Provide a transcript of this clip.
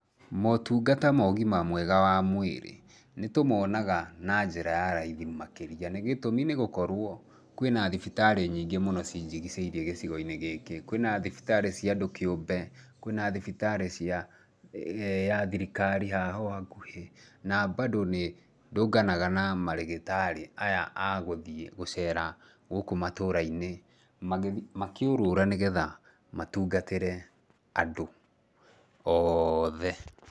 Motungata mo ũgima mwega wa mwĩrĩ, nĩ tũmonaga na njĩra ya raithi makĩria nĩ gĩtũmi nĩ gũkorwo kwĩna thibitarĩ nyĩngĩ cinjigicĩirĩe gĩcigo-inĩ gĩkĩ. Kwĩna thibitarĩ ciandũ kĩũmbe, kwĩna thibitarĩ ya thirikari haha ũũ hakuhĩ na mbandũ nĩ ndũnganaga na marigitarĩ aya a gũthiĩ gũcera gũkũ matũra-inĩ makĩũrũra nĩ getha matungatĩre andũ othe.